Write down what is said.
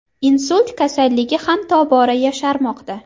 Insult kasalligi ham tobora yosharmoqda.